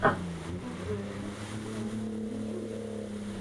подборки на ютьюбе